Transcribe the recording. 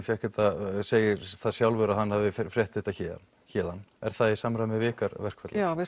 fékk þetta segir það sjálfur að hann hafi frétt þetta héðan héðan er það í samræmi við ykkar verkferla já við